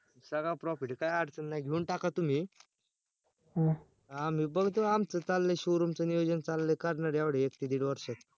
सगळा profit काय अडचण नाय घेऊन टाका तुम्ही अं मी बघतो आमच चाललंय showroom च नियोजन चाललंय करणार एवढ्यात एक ते दीड वर्षात